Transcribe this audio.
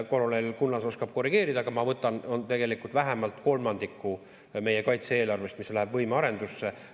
Kolonel Kunnas oskab korrigeerida, aga ma võtan, et vähemalt kolmandiku meie kaitse-eelarvest, mis läheb võimearendusse.